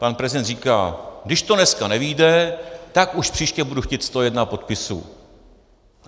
Pan prezident říká: Když to dneska nevyjde, tak už příště budu chtít 101 podpisů.